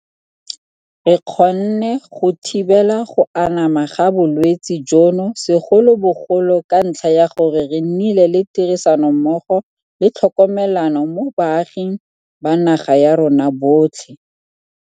Re kgonne go thibela go anama ga bolwetse jono segolobogolo ka ntlha ya gore re nnile le tirisanommogo le tlhokomelano mo baaging ba naga ya rona botlhe.